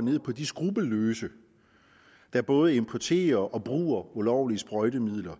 ned på de skruppelløse der både importerer og bruger ulovlige sprøjtemidler